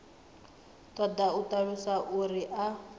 ṱoḓa u ṱalusiwa uri a